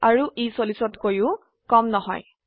আৰু ই 40তকৈও কম নহয়